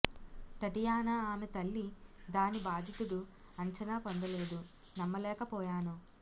Tatiana ఆమె తల్లి దాని బాధితుడు అంచనా పొందలేదు నమ్మలేకపోయాను